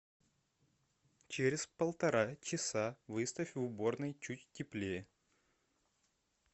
через полтора часа выставь в уборной чуть теплее